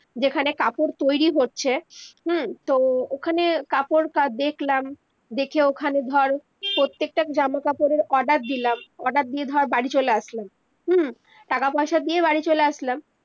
যেখানে কাপড় তৈরি হচ্ছে হম তো ওখানে কাপড় দেখলাম দেখে ওখানে ধর প্রত্যেকটা জামা কাপড়ের অর্ডার দিলাম order দিয়ে ধর বাড়ি চলে আসলাম হম টাকা পয়সা দিয়ে বাড়ি চলে আসলাম